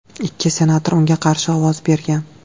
Ikki senator unga qarshi ovoz bergan.